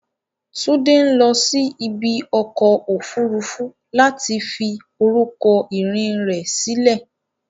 Tunde ń lọ sí ibi ọkọ̀ òfuurufú láti fi orúkọ ìrìn rẹ̀ sílẹ̀.